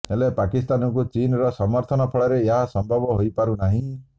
ହେଲେ ପାକିସ୍ତାନକୁ ଚୀନର ସମର୍ଥନ ଫଳରେ ଏହା ସମ୍ଭବ ହୋଇପାରୁ ନାହିଁ